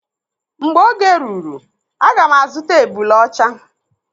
Mgbe oge ruru aga m azuta ebule ọcha.